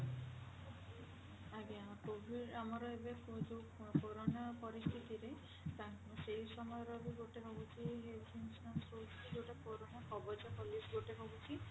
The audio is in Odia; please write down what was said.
ଆଜ୍ଞା କୋଭିଡ଼ ଆମର ଏବେ ଯୋଊ କୋରୋନା ପରିସ୍ଥିତିରେ ତାଙ୍କ ସେଇ ସମୟର ବି ଗୋଟେ ରହୁଛି health insurance ରହୁଛି ଯୋଉଟା କୋରୋନା କବଜ policy ଗୋଟେ ରହୁଛି